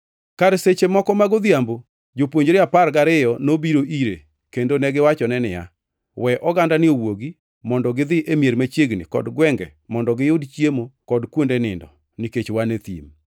Kar seche moko mag odhiambo Jopuonjre apar gariyo nobiro ire kendo negiwachone niya, “We ogandani owuogi mondo gidhi e mier machiegni kod gwenge mondo giyud chiemo kod kuonde nindo, nikech wan e thim.”